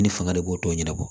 Ne fanga de b'o tɔ ɲɛnabɔ